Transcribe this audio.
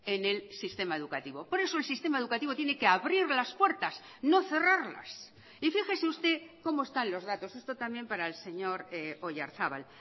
en el sistema educativo por eso el sistema educativo tiene que abrir las puertas no cerrarlas y fíjese usted como están los datos esto también para el señor oyarzabal